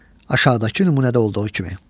Aşağıdakı nümunədə olduğu kimi.